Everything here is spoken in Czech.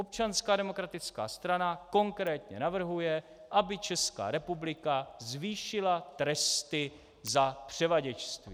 Občanská demokratická strana konkrétně navrhuje, aby Česká republika zvýšila tresty za převaděčství.